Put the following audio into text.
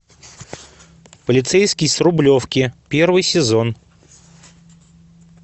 полицейский с рублевки первый сезон